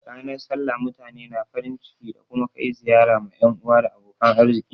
Ranar sallah mutane na farin ciki da kuma kai ziyara ma yan uwa da abokan arziki.